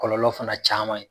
Kɔlɔlɔ fana caaman ye